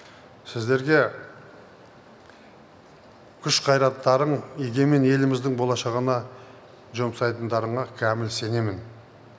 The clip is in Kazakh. сіздерге күш қайраттарың егемен еліміздің болашағына жұмсайтындарыңа кәміл сенемін